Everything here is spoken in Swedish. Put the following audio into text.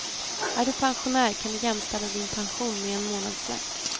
Är du pensionär kan du jämställa din pension med en månadslön.